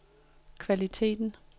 kvaliteten